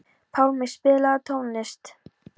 Pálmi, spilaðu tónlist.